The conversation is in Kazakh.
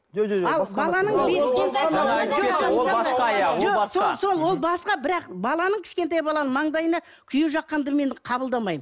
ол басқа бірақ баланың кішкентай баланың маңдайына күйе жаққанды мен қабылдамаймын